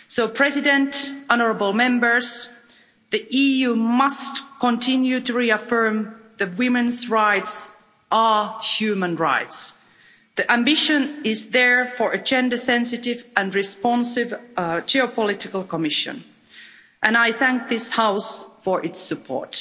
Mr President, the EU must continue to reaffirm that women's rights are human rights. The ambition is there for a gender sensitive and responsive geopolitical Commission and I thank this House for its support.